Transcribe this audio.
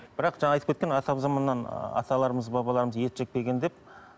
бірақ жаңа айтып кеткен атамзаманнан аталарымыз бабаларымыз ет жеп келген деп